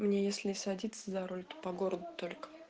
мне если и садиться за руль то по городу только